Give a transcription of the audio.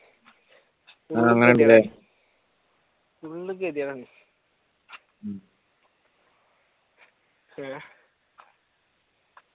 full ഗതികേട് ആണ് ഏഹ്